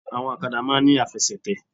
Áwọn òkadà má máa n ní àfesètè